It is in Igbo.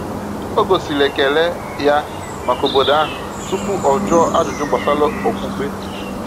O gosiri ekele ya maka obodo ahụ tupu o jụọ ajụjụ gbasara okpukpe.